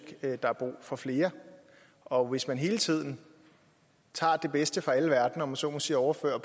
at der er brug for flere og hvis man hele tiden tager det bedste fra alle verdener om man så må sige og overfører